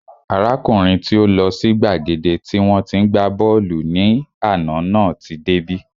Arákùnrin tí ó lọ sí gbàgede tí wọ́n tí ń gbá bọ́ọ̀lù ní àná náà tí dé bí